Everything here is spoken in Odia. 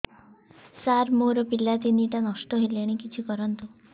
ସାର ମୋର ପିଲା ତିନିଟା ନଷ୍ଟ ହେଲାଣି କିଛି କରନ୍ତୁ